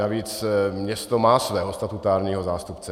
Navíc město má svého statutárního zástupce.